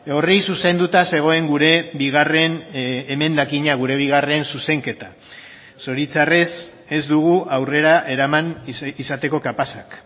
horri zuzenduta zegoen gure bigarren emendakina gure bigarren zuzenketa zoritzarrez ez dugu aurrera eraman izateko kapazak